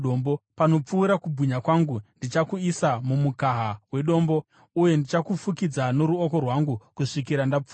Panopfuura kubwinya kwangu, ndichakuisa mumukaha wedombo uye ndichakufukidza noruoko rwangu kusvikira ndapfuura.